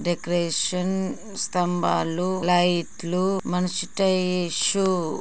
Decoration స్తంభాలు లైట్లు మనిష్ట ఇష్యూ.